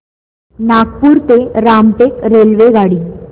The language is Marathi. नागपूर ते रामटेक रेल्वेगाडी